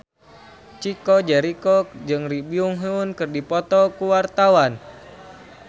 Chico Jericho jeung Lee Byung Hun keur dipoto ku wartawan